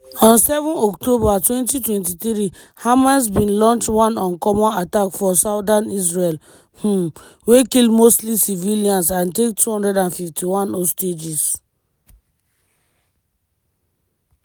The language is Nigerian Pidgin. on 7 october 2023 hamas bin launch one uncommon attack for southern israel - um wey kill mostly civilians and take 251 hostages.